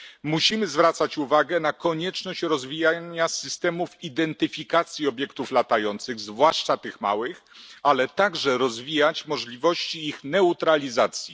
Musimy zwracać uwagę na konieczność rozwijania systemów identyfikacji obiektów latających, zwłaszcza tych małych, ale także rozwijać możliwości ich neutralizacji.